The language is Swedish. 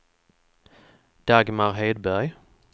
Dagmar Hedberg